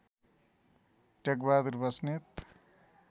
Tekbahadur Basnet